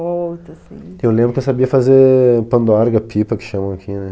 Volta, assim... Eu lembro que eu sabia fazer pandorga, pipa, que chamam aqui, né?